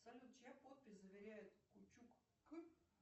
салют чья подпись заверяет кучук к